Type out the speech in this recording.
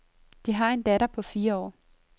De har en datter på fire år.